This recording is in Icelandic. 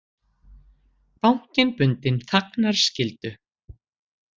Bankinn bundinn þagnarskyldu